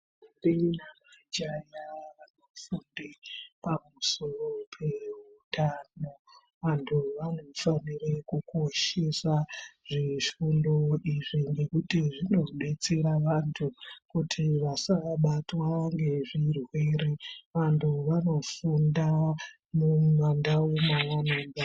Ndombi namajaya vanofunda pamusoro peutano. Vantu vanofanire kukoshesa zvifundo izvi ngekuti zvinodetsera vantu kuti vasabatwa ngezvirwere. Vantu vanofunda mumandau mwavano...